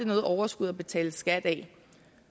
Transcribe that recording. noget overskud at betale skat af